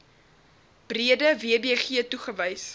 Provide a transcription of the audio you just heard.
breede wbg toegewys